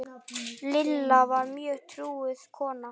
Lilla var mjög trúuð kona.